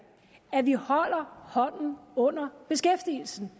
at vi holder hånden under beskæftigelsen